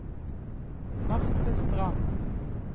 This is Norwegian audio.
Marthe Strand